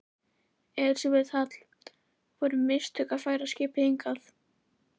Elísabet Hall: Voru mistök að færa skipið hingað?